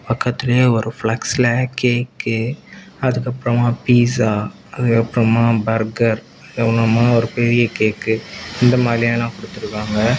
பக்கத்திலேயே ஒரு பிளக்ஸ்ல கேக்கு அதுக்கு அப்றமா பீட்சா அதுக்கு அப்றமா பர்கர் அதென்னமோ ஒரு பெரிய கேக் இந்த மாதிரி எல்லாம் கொடுத்து இருக்காங்க.